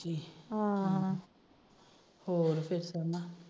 ਹਮ ਹੋਰ ਫਿਰ ਸੋਨਾ?